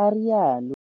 a rialo.